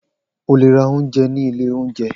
O le ra ounjẹ ni ile ounjẹ.